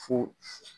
Fo